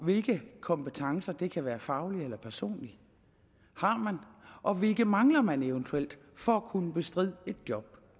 hvilke kompetencer det kan være faglige eller personlige har man og hvilke mangler man eventuelt for at kunne bestride et job